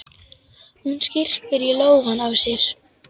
Hún skyrpir í lófana á sér.